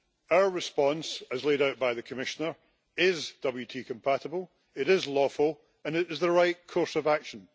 Our response, as laid out by the Commissioner, is WTO compatible, it is lawful and it is the right course of action.